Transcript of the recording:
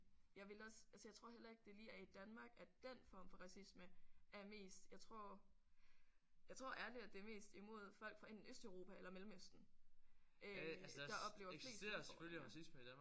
Jeg ville også altså jeg tror heller ikke det lige er i Danmark at dén form for racisme er mest jeg tror jeg tror ærligt at det er mest det er imod folk fra enten Østeuropa eller Mellemøsten øh der oplever flest had